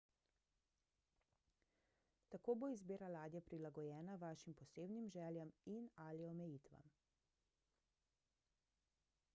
tako bo izbira ladje prilagojena vašim posebnim željam in/ali omejitvam